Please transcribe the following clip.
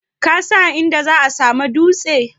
Kasan inda za'a samu dutse?